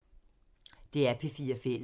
DR P4 Fælles